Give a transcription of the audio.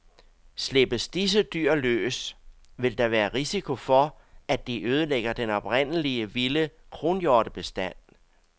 Slippes disse dyr løs, vil der være risiko for, at de ødelægger den oprindelige vilde kronhjortebestand.